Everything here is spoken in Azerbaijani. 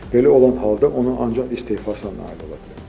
Belə olan halda o ancaq istefasına nail ola bilər.